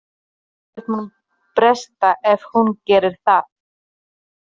Ekkert mun bresta ef hún gerir það.